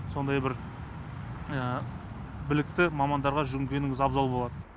сондай бір білікті мамандарға жүгінгеніңіз абзал болады